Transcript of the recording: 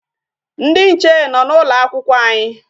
Ndị nche nọ n'ụlọ akwụkwọ anyị.